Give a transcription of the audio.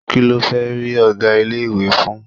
Kí ló fẹ́ rí ọ̀gá ilé-ìwé fún?